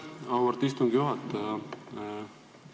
Aitäh, auväärt istungi juhataja!